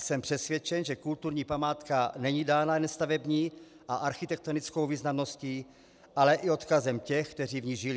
Jsem přesvědčen, že kulturní památka není dána jen stavební a architektonickou významností, ale i odkazem těch, kteří v ní žili.